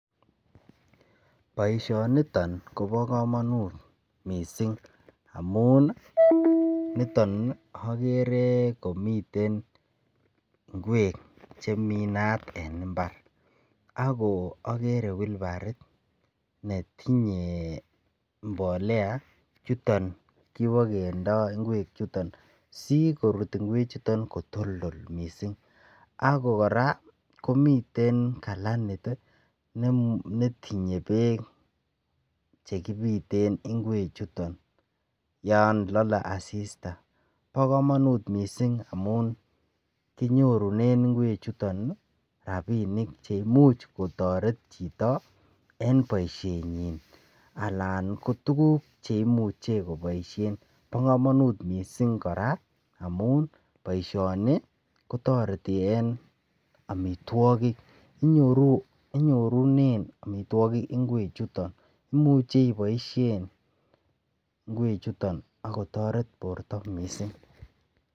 Boishoniton Kobo komonut missing amun niton nii okere komiten ngwek chemii inat en imbar ako okere wheelbarit netinye mbolea chuton kibokendo ingwek chuton si korut ingwek chuton kotildol missing ako Koraa komiten kalanit tii netinye beek chekipiten ingwek chuton yon lole asista. Bo komonut missing amun kinyorunen ingwek chuton rabinik che imuch kotoret chito en boishenyin alak ko tukuk cheimuche koboishen. Bo komonut missing koraa amun boishoni kotoreti en omitwokik inyorunen omitwokik ingwek chuton imuche iboishen ingwek chuton akotoret borto missing.